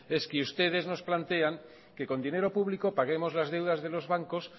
es que ustedes nos plantean que con dinero público paguemos las deudas de los bancos